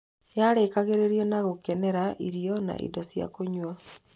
Yarĩkagĩrĩrio na gũkenera irio na indo cia kũnyua.